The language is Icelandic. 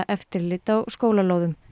eftirlit á skólalóðum